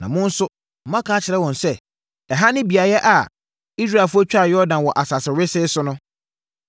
Na mo nso moaka akyerɛ wɔn sɛ, ‘Ɛha ne beaeɛ a Israelfoɔ twaa Yordan wɔ asase wesee so no.’